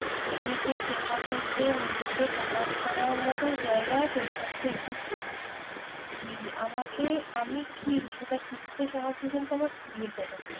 নিজেকে চেনা থেকে নিজেকে প্রমান করার মতো জায়গা সেটি হচ্ছে একটি school নিজে আমাকে আমি কি সেটা চিনতে সাহায্য কিন্তু আমার school ই করেছে